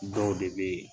Dɔw de be yen